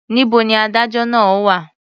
Níbo ni adájọ́ náà wà?